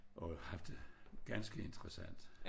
Og haft det ganske interessant